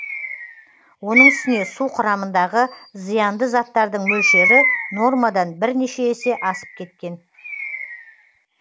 оның үстіне су құрамындағы зиянды заттардың мөлшері нормадан бірнеше есе асып кеткен